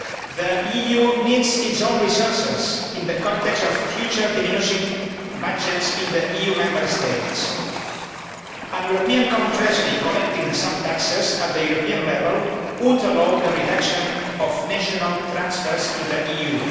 The EU needs its own resources in the context of future diminishing budgets in the EU Member States. A European common treasury collecting some taxes at European level would allow the reduction of national transfers to the EU.